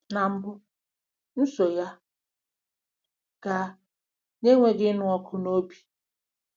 Na mbụ, m so ya gaa - n'enweghị ịnụ ọkụ n'obi.